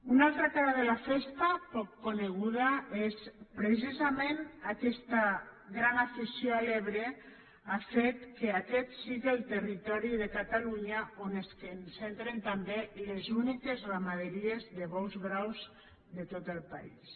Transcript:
una altra cara de la festa poc coneguda és precisament aquesta gran afició a l’ebre ha fet que aquest siga el territori de catalunya on es concentren també les úniques ramaderies de bous braus de tot el país